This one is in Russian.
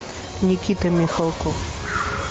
никита михалков